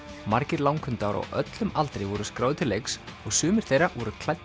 margir langhundar á öllum aldri voru skráðir til leiks og sumir þeirra voru klæddir